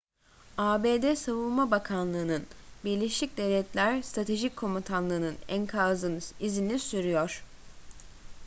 abd savunma bakanlığının birleşik devletler stratejik komutanlığının enkazın izini sürüyor